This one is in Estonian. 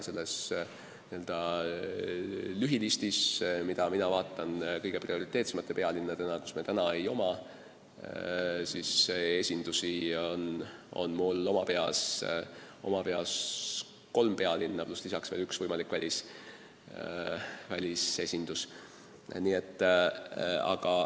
Selles n-ö lühilistis, kus on kirjas prioriteetsed pealinnad, kus meil praegu esindust ei ole, on mul oma peas kolm pealinna, pluss lisaks veel üks võimalik välisesindus.